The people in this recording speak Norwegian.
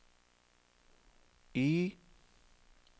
Y